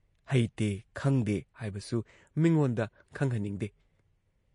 ꯍꯩꯇꯦ ꯈꯪꯗꯦ ꯍꯥꯏꯕꯁꯨ ꯃꯤꯉꯣꯟꯗ ꯈꯪꯍꯟꯅꯤꯡꯗꯦ ꯫